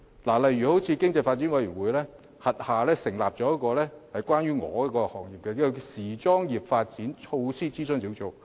舉例而言，經濟發展委員會轄下成立了一個與我所屬行業相關的時裝業發展措施諮詢小組。